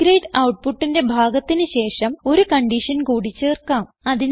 B grade ഔട്ട്പുട്ടിന്റെ ഭാഗത്തിന് ശേഷം ഒരു കൺഡിഷൻ കൂടി ചേർക്കാം